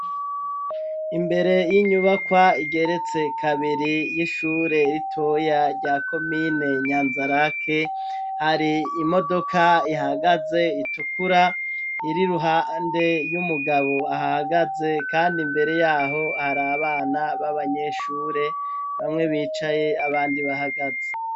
Imbere y'inyubakwa igeretse kabiri y'ishure ritoya rya komine nyanzarake hari imodoka ihagaze itukura iri ruhande y'umugabo ahagaze, kandi imbere yaho hari abana b'abanyeshure bamwe bicaye abandi bahagazi.